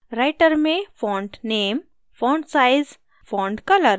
writer में font name font name font size font size font color font color